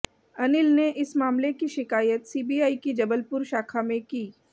अनिल ने इस मामले की शिकायत सीबीआई की जबलपुर शाखा में की